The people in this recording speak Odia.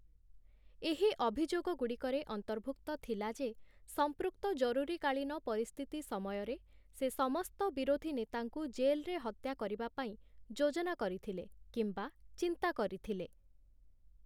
ଏହି ଅଭିଯୋଗଗୁଡ଼ିକରେ ଅନ୍ତର୍ଭୁକ୍ତ ଥିଲା ଯେ, ସମ୍ପୃକ୍ତ ଜରୁରୀକାଳୀନ ପରିସ୍ଥିତି ସମୟରେ, ସେ ସମସ୍ତ ବିରୋଧୀ ନେତାଙ୍କୁ ଜେଲ୍‌ରେ ହତ୍ୟା କରିବା ପାଇଁ ଯୋଜନା କରିଥିଲେ କିମ୍ବା ଚିନ୍ତା କରିଥିଲେ ।